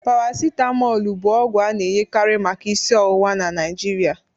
Paracitamọl bụ ọgwụ a na-enyekari maka isi ọwụwa na Nigeria